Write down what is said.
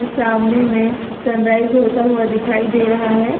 सामने में sunrise होता हुआ दिखाई दे रहा है।